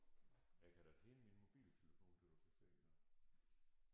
Jeg kan da tænde min mobiltelefon så du kan se noget